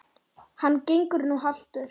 Hann gengur nú haltur.